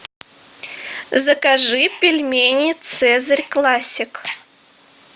закажи пельмени цезарь классик